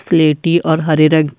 सिलेटी और हरे रंग।